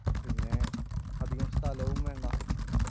പിന്നെ അധികം സ്ഥലവും വേണ്ട